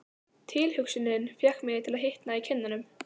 Tilhugsunin fékk mig til að hitna í kinnunum.